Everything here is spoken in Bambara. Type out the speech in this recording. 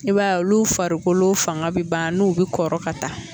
I b'a ye olu farikolo fanga bi ban n'u bi kɔrɔ ka taa